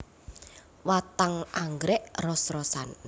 Watang anggrèk ros rosan